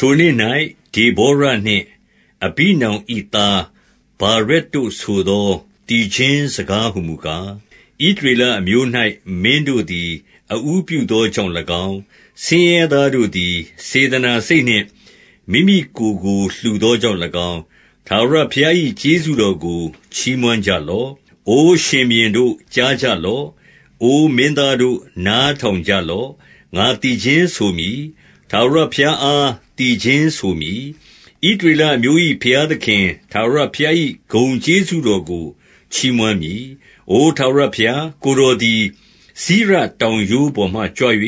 ထိုနေ့၌ ဒေဗောရနှင့် အဘိနောင်၏ သားဗာရက်တို့ဆိုသော သီချင်းစကားဟူမူကား၊ 2 ဣသရေလအမျိုး၌ မင်းတို့သည် အဦးပြုသောကြောင့်၎င်း၊ ဆင်းရဲသားတို့သည် စေတနာစိတ်နှင့် မိမိကိုယ်ကို လှူသောကြောင့်၎င်း၊ ထာဝရဘုရား၏ ကျေးဇူးတော်ကို ချီးမွမ်းကြလော့။ 3 အိုရှင်ဘုရင်တို့ ကြားကြလော့။ အိုမင်းသားတို့ နားထောင်ကြလော့။ ငါသီချင်းဆိုမည်။ ထာဝရဘုရား အား သီချင်းဆိုမည်။ ဣသရေလအမျိုး၏ ဘုရားသခင် ထာဝရဘုရား၏ ဂုဏ်ကျေးဇူးတော်ကို ချီးမွမ်းမည်။ 4 အိုထာဝရဘုရား၊ ကိုယ်တော်သည် စိရတောင်ရိုးပေါ်မှ ကြွ၍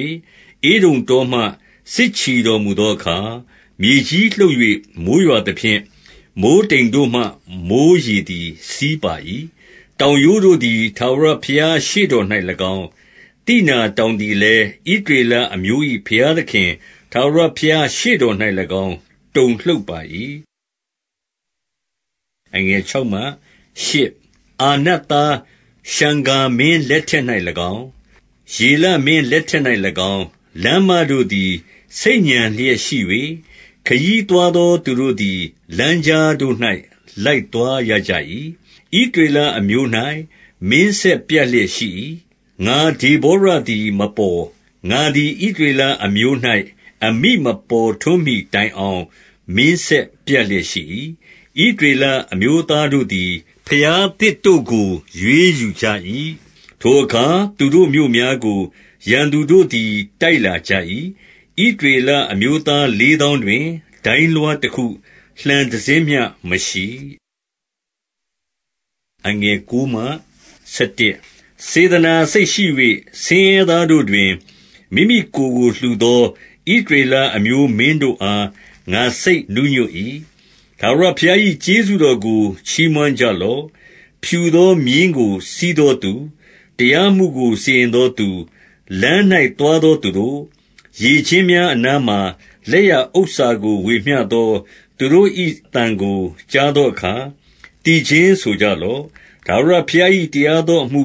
ဧဒုံတောမှ စစ်ချီတော်မူသောအခါ၊ မြေကြီးလှုပ်၍ မိုဃ်းရွာသဖြင့် မိုဃ်းတိမ်တို့မှ မိုဃ်းရေသည် စီးပါ၏။ 5 တောင်ရိုးတို့သည် ထာဝရဘုရားရှေ့တော်၌၎င်း၊ သိနာတောင်သည်လည်း ဣသရေလအမျိုး၏ ဘုရားသခင် ထာဝရဘုရားရှေ့တော်၌၎င်း တုန်လှုပ်ပါ၏။ 6 အာနတ်သားရှံဂါမင်းလက်ထက်၌၎င်း၊ ယေလမင်းလက်ထက်၌၎င်း၊ လမ်းမတို့သည် ဆိတ်ညံလျက် ရှိ၍ ခရီးသွားသော သူတို့သည် လမ်းကြားတို့၌ လိုက်သွားရကြ၏။ 7 ဣသရေလအမျိုး၌ မင်းဆက်ပြတ်လျက်ရှိ၏။ ငါဒေဗောရသည် မပေါ်၊ ငါသည် ဣသရေလအမျိုး၌ အမိမပေါ်ထွန်းမှီတိုင်အောင် မင်းဆက်ပြတ်လျက် ရှိ၏။ 8 ဣသရေလအမျိုးသားတို့သည် ဘုရားသစ်တို့ကို ရွေးယူကြ၏။ ထိုအခါ သူတို့မြို့များကို ရန်သူတို့သည် တိုက်လာကြ၏။ ဣသရေလအမျိုးသားလေးသောင်းတွင် ဒိုင်းလွှား တခု၊ လှံတစင်းမျှ မရှိ။ 9 စေတနာစိတ်ရှိ၍ ဆင်းရဲသားတို့တွင် မိမိကိုယ်ကို လှူသော ဣသရေလအမျိုး မင်းတို့အား ငါစိတ်နူးညွတ်၏။ ထာဝရဘုရား၏ ကျေးဇူးတော်ကို ချီးမွမ်းကြလော့။ 10 ဖြူသော မြည်းကို စီးသောသူ၊ တရားမှုကို စီရင်သောသူ၊ လမ်း၌သွားသောသူတို့၊ 11 ရေကျင်းများအနားမှာ လက်ရဥစ္စာကို ဝေမျှသော သူတို့၏ အသံကို ကြားသောအခါ သီချင်းဆိုကြလော့။ ထာဝရဘုရား၏ တရားသောအမှု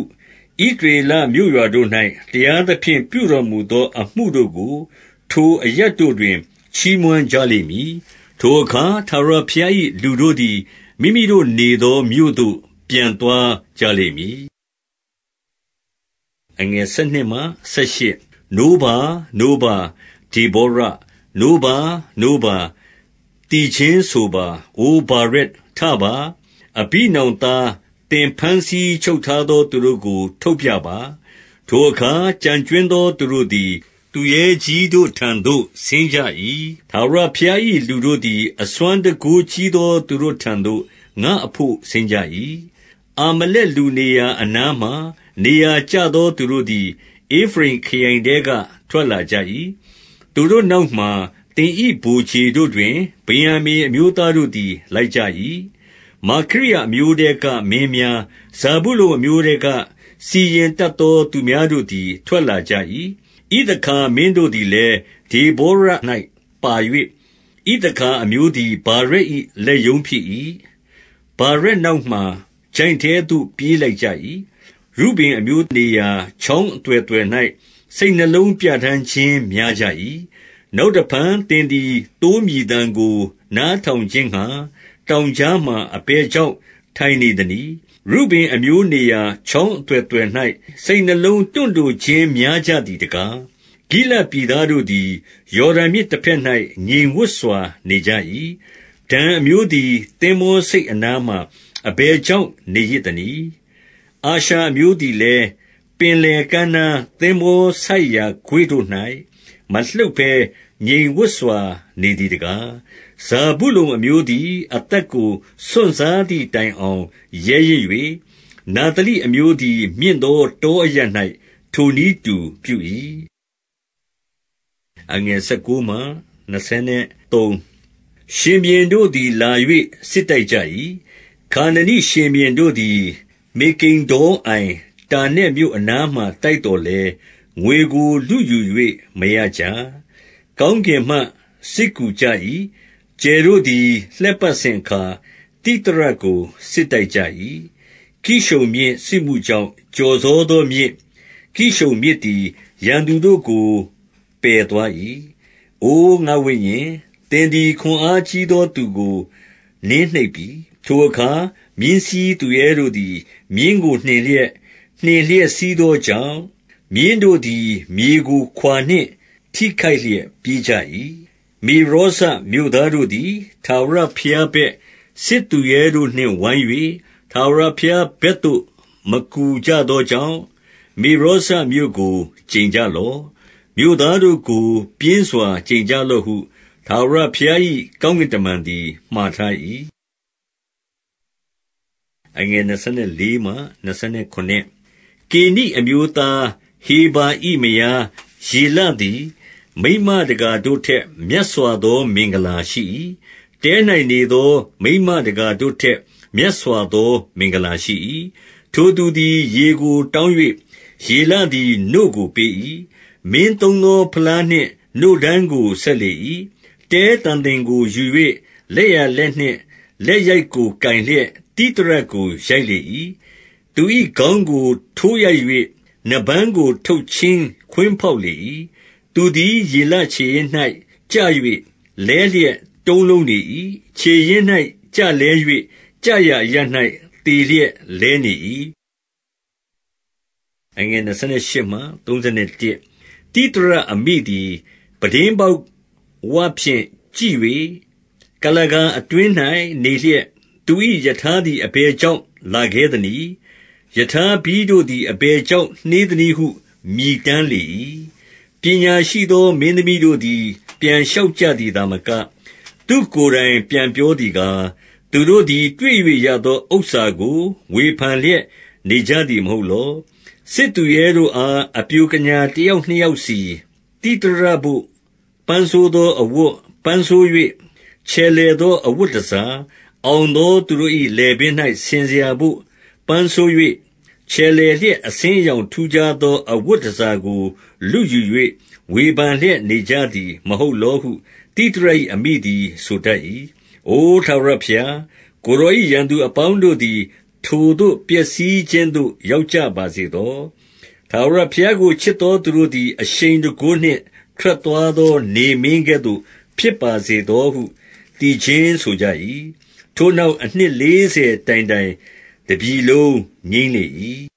၊ ဣသရေလမြို့ရွာတို့၌ တရားသဖြင့် ပြုတော်မူသော အမှုတို့ကို ထိုအရပ်တို့တွင် ချီးမွမ်းကြလိမ့်မည်။ ထိုအခါ ထာဝရဘုရား၏ လူတို့သည် မိမိတို့နေသော မြို့သို့ ပြန်သွားကြလိမ့်မည်။ 12 နိုးပါ၊ နိုးပါ၊ ဒေဗောရ။ နိုးပါ၊ နိုးပါ၊ သီချင်းဆိုပါ၊ အိုဗာရက်၊ ထပါ၊ အဘိနောင်သား၊ သင်ဘမ်းဆီး ချုပ်ထားသော သူတို့ကို ထုတ်ပြပါ။ 13 ထိုအခါ ကျန်ကြွင်းသော သူတို့သည် သူရဲကြီးတို့ထံသို့ ဆင်းကြ၏။ ထာဝရဘုရား၏လူတို့သည် အစွမ်းတန်ခိုးကြီးသော သူတို့ထံသို့ ငါ့အဘို့ ဆင်းကြ၏။ 14 အာမလက်လူနေရာအနားမှာ နေရာကျသော သူတို့သည် ဧဖရိမ်ခရိုင်ထဲက ထွက်လာကြ၏။ သူတို့နောက်မှာ သင်၏ ဗိုလ်ခြေတို့တွင် ဗင်္ယာမိန်အမျိုးသားတို့သည် လိုက်ကြ၏။ မာခိရအမျိုးထဲက မင်းများ၊ ဇာဗုလုန်အမျိုးထဲက စီရင်တတ်သော သူများတို့သည် ထွက်လာကြ၏။ 15 ဣသခါမင်းတို့သည်လည်း၊ ဒေဗောရ၌ ပါ၍ ဣသခါအမျိုးသည် ဗာရက်၏ လက်ရုံးဖြစ်၏။ ဗာရက်နောက်မှာ ချိုင့်ထဲသို့ ပြေးလိုက်ကြ၏။ ရုဗင်အမျိုးနေရာ ချောင်းအသွယ်သွယ်၌ စိတ်နှလုံးပြ ဌာန်းခြင်း များကြ၏။ 16 နောက်တဖန် သင်သည် သိုးမြည်သံကို နားထောင်ခြင်းငှါ တောင်ကြားမှာ အဘယ်ကြောင့် ထိုင်နေသနည်း။ ရုဗင်အမျိုးနေရာ ချောင်းအသွယ်သွယ်၌ စိတ်နှလုံး တွန့်တိုခြင်းများကြသည်တကား။ 17 ဂိလဒ်ပြည်သားတို့သည် ယော်ဒန်မြစ်တဘက်၌ ငြိမ်ဝပ်စွာ နေကြ၏။ ဒန်းအမျိုးသည် သင်္ဘောဆိပ် အနားမှာ အဘယ်ကြောင့် နေရစ်သနည်း။ အာရှာအမျိုးသည်လည်း ပင်လယ်ကမ်းနားသင်္ဘော ဆိုက်ရာ ကွေ့တို့၌ မလှုပ်ဘဲငြိမ်ဝပ်စွာ နေသည်တကား။ 18 ဇာဗုလုန်အမျိုးသည် အသက်ကို စွန့်စားသည်တိုင်အောင် ရဲရင့်၍ နဿလိအမျိုးသည် မြင့်သော တောအရပ်၌ ထိုနည်းတူပြု၏။ 19 ရှင်ဘုရင်တို့သည် လာ၍ စစ်တိုက်ကြ၏။ ခါနနိရှင်ဘုရင်တို့သည် မေဂိဒ္ဒေါအိုင်၊ တာနက်မြို့အနားမှာ တိုက်သော်လည်း၊ ငွေကို လုယူ၍ မရကြ။ 20 ကောင်းကင်မှ စစ်ကူကြ၏။ ကြယ်တို့သည် လှည့်ပတ်စဉ်အခါသိသရကို စစ်တိုက်ကြ၏။ 21 ကိရှုန်မြစ်၊ စစ်မှုကြောင့် ကျော်စောသောမြစ်၊ ကိရှုန်မြစ်သည် ရန်သူတို့ကို ပယ်သွား၏။ အိုငါ့ဝိညာဉ်၊ သင်သည် ခွန်အား ကြီးသော သူကို နှိပ်နင်းပြီ။ 22 ထိုအခါ မြင်းစီးသူရဲတို့သည် မြင်းကို နှင်လျက် နှင်လျက် စီးသောကြောင့်၊ မြင်းတို့သည် မြေကို ခွာနှင့် ထိခိုက်လျက် ပြေးကြ၏။ 23 မေရောဇမြို့သားတို့သည် ထာဝရဘုရားဘက်၊ စစ်သူရဲတို့နှင့် ဝိုင်း၍ ထာဝရဘုရားဘက်သို့ မကူကြသောကြောင့်၊ မေရောဇမြို့ကို ကျိန်ကြလော့။ မြို့သားတို့ကို ပြင်းစွာ ကျိန်ကြလော့ဟု ထာဝရ ဘုရား၏ကောင်းကင်တမန်သည် မှာထား၏။ 24 ကေနိအမျိုးသား ဟေဗာ၏မယားယေလသည်၊ မိန်းမတကာတို့ထက် မြက်စွာသော မင်္ဂလာရှိ၏။ တဲ၌နေသော မိန်းမတကာတို့ထက် မြတ်စွာသော မင်္ဂလာရှိ၏။ 25 ထိုသူသည် ရေကို တောင်း၍ ယေလသည် နို့ကို ပေး၏။ မင်းသုံးသော ဖလားနှင့် နို့ဓမ်းကို ဆက်လေ၏။ 26 တဲတံသင်ကို ယူ၍ လက်ျာလက်နှင့် လက်ရိုက်ကို ကိုင်လျက် သိသရကို ရိုက်လေ၏။ သူ၏ ခေါင်းကို ထိုးရိုက်၍ နားပန်းကို ထုတ်ချင်းခွင်းဖောက်လေ၏။ 27 သူသည် ယေလခြေရင်း၌ ကျ၍ လဲလျက် တုံးလုံးနေ၏။ ခြေရင်း၌ ကျလဲ၍ ကျရာအရပ်၌ သေလျက် လဲနေ၏။ 28 သိသရအမိသည် ပြတင်းပေါက်ဝဖြင့် ကြည့်၍ ကုလားကာအတွင်း၌ နေလျက်၊ သူ၏ ရထားသည် အဘယ်ကြောင့် လာခဲသနည်း။ ရထားဘီးတို့သည် အဘယ်ကြောင့် နှေးသနည်းဟု မြည်တမ်းလေ၏။ 29 ပညာရှိသော မင်းသမီးတို့သည် ပြန်လျှောက်သည်သာမက၊ သူ့ကိုယ်တိုင် ပြန်ပြောသည်ကား၊ 30 သူတို့သည် တွေ့၍ရသော ဥစ္စာကို ဝေဖန်လျက် နေကြသည်မဟုတ်လော။ စစ်သူရဲတို့အား အပျိုကညာ တယောက်နှစ်ယောက်စီ၊ သိသရဘို့ ပန်းဆိုးသော အဝတ်၊ ပန်းဆိုး၍ ချယ်လှယ်သော အဝတ်တန်ဆာ၊ အောင်သောသူတို့၏ လည်ပင်း၌ ဆင်စရာဘို့ ပန်းဆိုး၍ ချယ်လှယ်လျက် အဆင်းအရောင် ထူးခြား သော အဝတ်တန်ဆာကို လုယူ၍ ဝေဖန်လျက် နေကြသည် မဟုတ်လောဟု သိသရ၏ အမိသည် ဆိုတတ်၏။ 31 အိုထာဝရဘုရား၊ ကိုယ်တော်၏ ရန်သူအပေါင်းတို့သည် ထိုသို့ ပျက်စီးခြင်းသို့ ရောက်ကြပါစေသော။ ထာဝရဘုရားကို ချစ်သောသူတို့သည် အရှိန်တန်ခိုးနှင့် ထွက်သွားသော နေမင်းကဲ့သို့ဖြစ်ပါစေသောဟု သီချင်းဆိုကြ၏။ ထို့နောက် အနှစ်လေးဆယ်တိုင်တိုင် တပြည်လုံးငြိမ်းလေ၏။